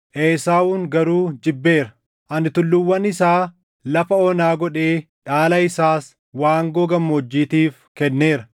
Esaawun garuu jibbeera; ani tulluuwwan isaa lafa onaa godhee dhaala isaas waangoo gammoojjiitiif kenneera.”